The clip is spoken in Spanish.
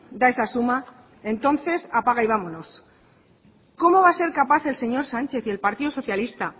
da esa suma entonces apaga y vámonos cómo va a ser capaz el señor sánchez y el partido socialista